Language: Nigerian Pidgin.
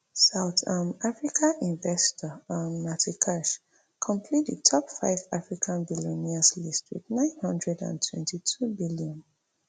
south um african investor um natie kirsh complete di top five african billionaires list wit nine hundred and twenty-two bn